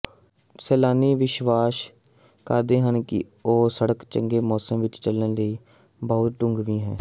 ਸੈਲਾਨੀ ਵਿਸ਼ਵਾਸ ਕਰਦੇ ਹਨ ਕਿ ਇਹ ਸੜਕ ਚੰਗੇ ਮੌਸਮ ਵਿਚ ਚੱਲਣ ਲਈ ਬਹੁਤ ਢੁਕਵੀਂ ਹੈ